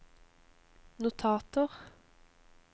notater